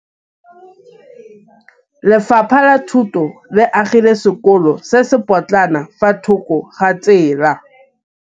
Lefapha la Thuto le agile sekôlô se se pôtlana fa thoko ga tsela.